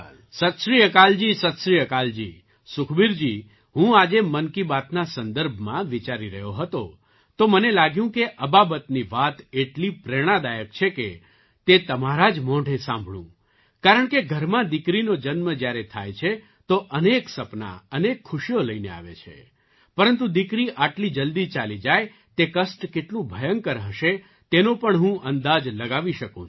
સત શ્રીઅકાલજી સત શ્રી અકાલજી સુખબીરજી હું આજે મન કી બાતના સંદર્ભમાં વિચારી રહ્યો હતો તો મને લાગ્યું કે અબાબતની વાત એટલી પ્રેરણાદાયક છે કે તે તમારા જ મોંઢે સાંભળું કારણકે ઘરમાં દીકરીનો જન્મ જ્યારે થાય છે તો અનેક સપના અનેક ખુશીઓ લઈને આવે છે પરંતુ દીકરી આટલી જલ્દી ચાલી જાય તે કષ્ટ કેટલું ભયંકર હશે તેનો પણ હું અંદાજ લગાવી શકું છું